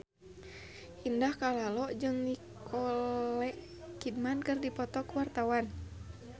Indah Kalalo jeung Nicole Kidman keur dipoto ku wartawan